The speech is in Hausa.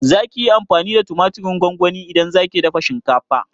Zaki yi amfani da tumatirin gongoni idan zaki dafa shinkafa?